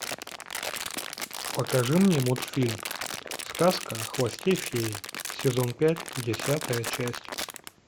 покажи мне мультфильм сказка о хвосте феи сезон пять десятая часть